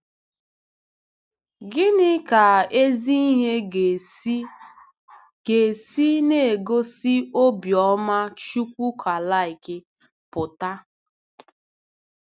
Gịnị ka ezi ihe ga-esi ga-esi n’igosi obiọma Chukwukalike pụta?